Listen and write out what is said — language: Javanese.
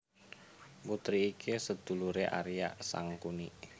Putri iki seduluré Arya Sangkuni